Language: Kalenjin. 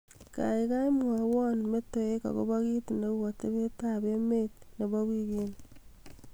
gaigai mwowon metoek agopo kiit neu atebet ab emeet nebo wigini